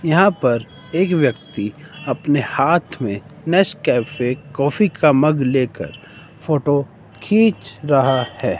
यहां पर एक व्यक्ति अपने हाथ में नेसकॅफे कॉफी का मग लेकर फोटो खींच रहा है।